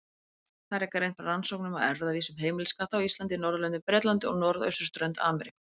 Þar er greint frá rannsóknum á erfðavísum heimiliskatta á Íslandi, Norðurlöndum, Bretlandi og norðausturströnd Ameríku.